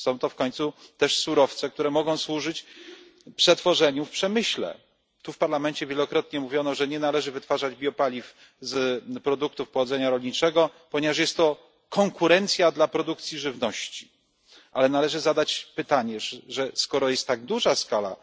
Są to w końcu surowce, które mogą służyć również przetworzeniu w przemyśle. W Parlamencie wielokrotnie mówiono, że nie należy wytwarzać biopaliw z produktów pochodzenia rolniczego, ponieważ jest to konkurencja dla produkcji żywności. Ale należy zadać pytanie skoro tak duża jest skala